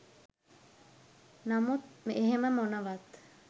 නමුත් එහෙම මොනවත්